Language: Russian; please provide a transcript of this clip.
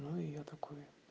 ну и я такой